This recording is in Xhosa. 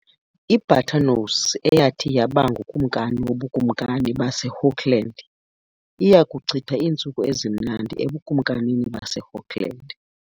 I-Buttonnose, eyathi yaba ngukumkani woBukumkani baseHookland, iya kuchitha iintsuku ezimnandi eBukumkanini baseHookland.